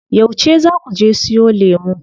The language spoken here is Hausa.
Yauce zaa kuje siyo lemu?